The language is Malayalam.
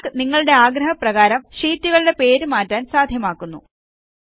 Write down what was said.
കാൽക്ക് നിങ്ങളുടെ ആഗ്രഹപ്രകാരം ഷീറ്റുകളുടെ പേര് മാറ്റാൻ സാദ്ധ്യമാക്കുന്നു